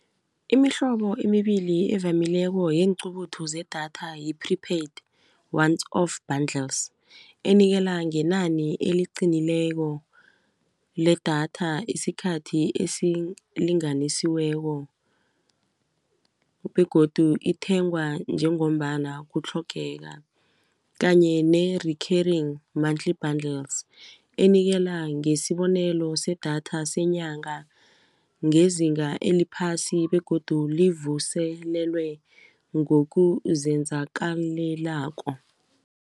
Imihlobo emibili evamileko yeenqubuthu zedatha yi-prepaid once off buddles enikela ngenani eliqinileko ledatha isikhathi esilinganisiweko begodu ithengwa njengombana kutlhogeka kanye ne-recurring monthly buddles enikela ngesibonelo sedatha senyanga ngezinga eliphasi begodu livuselelwe ngokuzenzakalelako.